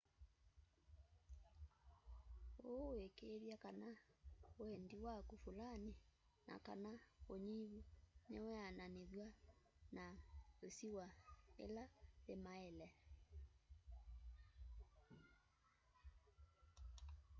ũu wikiithya kana wendi waku fulani na/kana unyivu niweananithw'a na isiwa ila yimaile